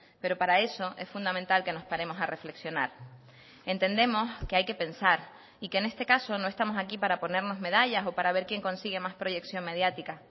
pero para eso es fundamental que nos paremos a reflexionar entendemos que hay que pensar y que en este caso no estamos aquí para ponernos medallas o para ver quién consigue más proyección mediática